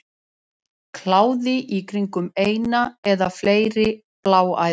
Kláði í kringum eina eða fleiri bláæðar.